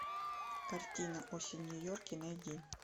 картина осень в нью йорке найди